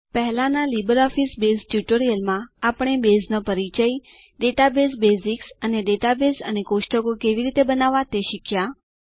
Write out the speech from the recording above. પહેલાંના LibreOffice Base ટ્યુટોરીયલમાં આપણે બેઝનો પરિચય ડેટાબેઝ બેઝિક્સ અને ડેટાબેઝ અને કોષ્ટક કેવી રીતે બનાવવા તે શીખ્યા